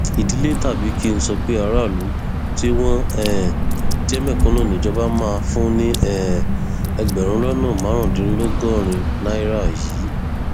ìdílé tàbí kí n sọ pé aráàlú tí wọn um jẹ mẹkúnù níjọba máa fún ní um ẹgbẹrún lọnà márùndínlọgọrin náírà yìí